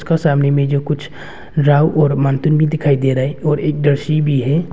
और सामने में जो कुछ भी दिखाई दे रहा है और एक दर्शी भी है।